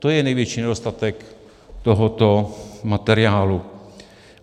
To je největší nedostatek tohoto materiálu.